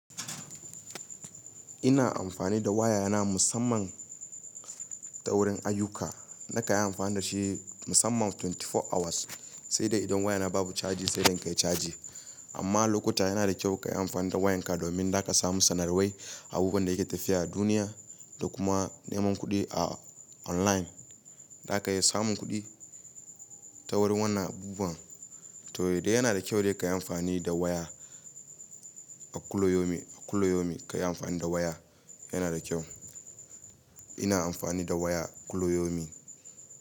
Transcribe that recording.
Ina amfani da waya na musamman ta wurin ayuka. Nakan yi amfani da shi, musamman 24 hours, sai dai idan wayana babu caji sai dai kai caji. Amma, lokuta yana da kyau ka yi amfani da wayanka domin daka samu sanarwai, abubuwan da yake tafiya a duniya da kuma neman kuɗi a online. Zaka iya samun kuɗi ta wurin wannan abubuwan. Toh, dai yana da kyau dai ka yi amfani da waya a kullayomi, a kullayomi ka yi amfani da waya yana da kyau. Ina amfani da waya kullayomi.